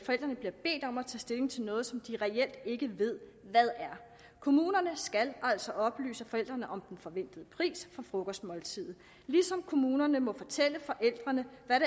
forældrene bliver bedt om at tage stilling til noget som de reelt ikke ved hvad er kommunerne skal altså oplyse forældrene om den forventede pris for frokostmåltidet ligesom kommunerne må fortælle forældrene hvad